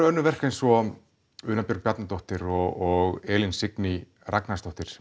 önnur verk eins og Una Björg Bjarnadóttir og Elín Signý Ragnarsdóttir